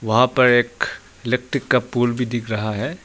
वहां पर एक इलेक्ट्रिक का पोल भी दिख रहा है।